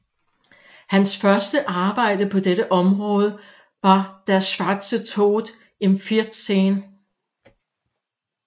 Hans første arbejde på dette område var Der schwarze Tod im 14